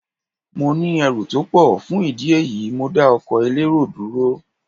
Mo ní ẹrù tó pọ̀, fún ìdí èyí, mo dá ọkọ̀ elérò dúró.